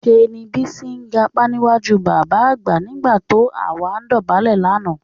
Ṣé ni Bísí gapá níwájú bàbá àgbà nígbà tó àwa dọ̀bálẹ̀ lánàá